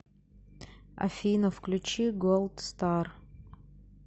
афина включи голд стар